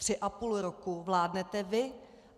Tři a půl roku vládnete vy.